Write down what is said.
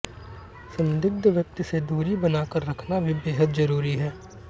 संदिग्ध व्यक्ति से दूरी बनाकर रखना भी बेहद जरूरी है